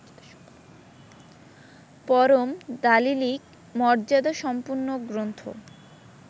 পরম দালিলিক মর্যাদাসম্পন্ন গ্রন্থ